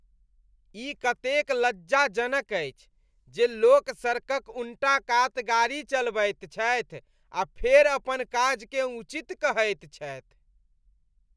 ई कतेक लज्जाजनक अछि जे लोक सड़कक उन्टा कात गाड़ी चलबैत छथि आ फेर अपन काजकेँ उचित कहैत छथि।